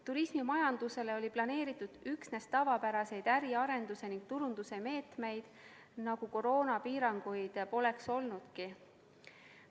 Turismimajandusele oli planeeritud üksnes tavapäraseid äriarenduse ning turunduse meetmeid, nagu koroonapiiranguid polekski.